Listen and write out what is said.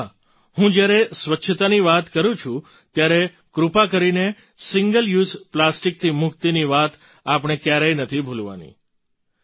અને હા હું જ્યારે સ્વચ્છતાની વાત કરૂં છું ત્યારે કૃપા કરીને સિંગલ યૂઝ પ્લાસ્ટિકથી મુક્તિની વાત આપણે ક્યારેય નથી ભૂલવાની